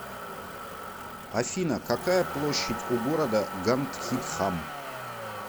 афина какая площадь у города гандхидхам